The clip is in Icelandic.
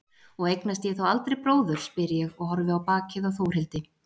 Og eignast ég þá aldrei bróður, spyr ég og horfi á bakið á Þórhildi.